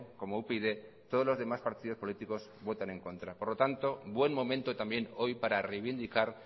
como upyd todos los demás partidos políticos votan en contra por lo tanto buen momento también hoy para reivindicar